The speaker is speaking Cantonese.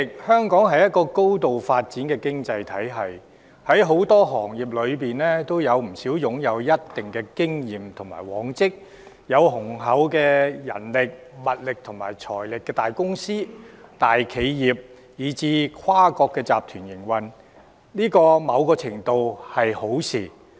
香港是一個高度發展的經濟體系，在很多行業中，有不少擁有一定經驗和往績、有雄厚人力、物力和財力的大公司、大企業，以至跨國集團，在某程度上是一件好事。